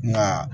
Nka